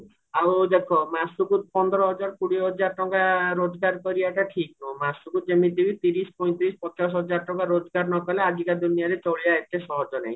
ଆଉ ଦେଖ ମାସକୁ ପନ୍ଦର ହଜାର କୋଡିଏ ହଜାର ଟଙ୍କା ରୋଜଗାର କରିବାଟା ଠିକ ନୁହଁ ମାସକୁ ଯେମିତି ତିରିଶ ପଇଁତିରିଶ ପଚାଶ ହଜାର ଟଙ୍କା ରୋଜଗାର ନକଲେ ଆଜିକା ଦୁନିଆରେ ଚଳିବା ଏତେ ସହଜ ନୁହେଁ